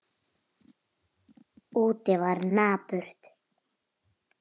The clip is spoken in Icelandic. Úti var napurt.